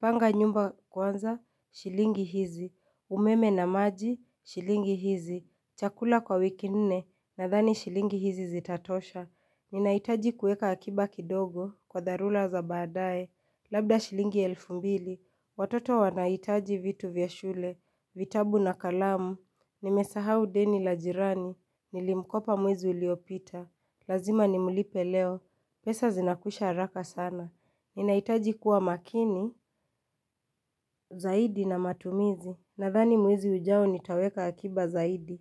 Panga nyumba kwanza shilingi hizi umeme na maji shilingi hizi Chakula kwa wiki nne Nadhani shilingi hizi zitatosha Ninaitaji kueka akiba kidogo Kwa dharura za baadae Labda shilingi elfu mbili Watoto wanaitaji vitu vyashule vitabu na kalamu Nimesahau deni la jirani Nilimkopa mwezi uliopita Lazima nimlipe leo pesa zinakwisha haraka sana Ninahitaji kuwa makini Zaidi na matumizi Nadhani mwizi ujao nitaweka akiba zaidi.